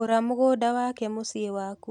Gũra mũgũda wake mũcĩĩ waku.